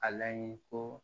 A laɲini ko